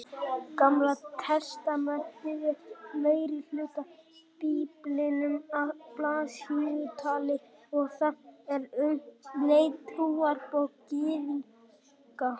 Gamla testamentið er meirihluti Biblíunnar að blaðsíðutali og það er um leið trúarbók Gyðinga.